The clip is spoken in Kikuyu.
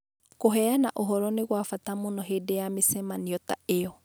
Kũheana ũhoro nĩ kwa bata mũno hĩndĩ ya mĩcemanio ta ĩyo.